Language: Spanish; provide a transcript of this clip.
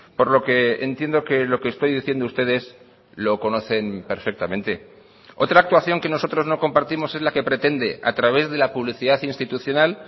por lo que entiendo que lo que estoy diciendo ustedes lo conocen perfectamente otra actuación que nosotros no compartimos es la que pretende a través de la publicidad institucional